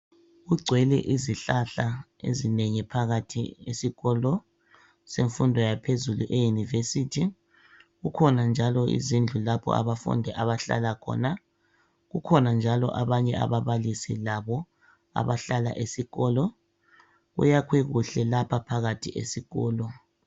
Kugcwele izihlahla ezinengi phakathi esikolo semfundo yaphezulu e University, kukhona njalo izindlu lapho abafundi abahlala khona, kukhona njalo abanye ababalisi labo abahlala esikolo. Kuyakhwe kuhle lapha phakathi esikolo.